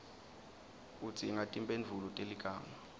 udzinga timphendvulo teligama